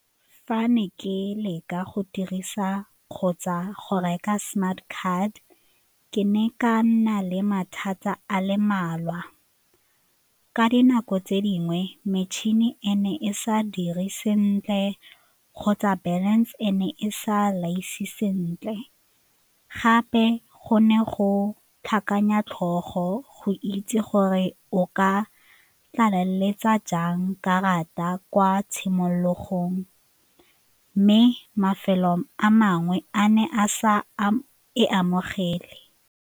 Fa ne ke leka go dirisa kgotsa go reka smart card ke ne ka nna le mathata a le mmalwa, ka dinako tse dingwe metšhini e ne e sa dire sentle kgotsa balance e ne e sa laise sentle gape go ne go tlhakanya tlhogo go itse gore o ka tlaleletsa jang karata kwa tshimologong mme mafelong a mangwe a ne a sa e amogele.